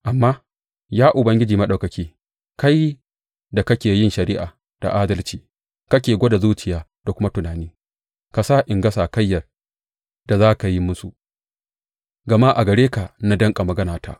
Amma, ya Ubangiji Maɗaukaki, kai da kake yin shari’a da adalci kake gwada zuciya da kuma tunani, ka sa in ga sakayyar da za ka yi musu, gama a gare ka na danƙa maganata.